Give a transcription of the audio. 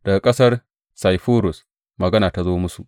Daga ƙasar Saifurus magana ta zo musu.